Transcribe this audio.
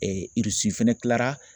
fɛnɛ kilara